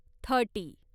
thirty